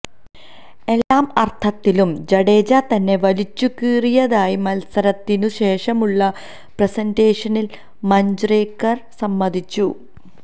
എല്ലാ അര്ഥത്തിലും ജദേജ തന്നെ വലിച്ചുകീറിയതായി മത്സരത്തിനു ശേഷമുള്ള പ്രസന്റേഷനില് മഞ്ച്രേക്കര് സമ്മതിച്ചു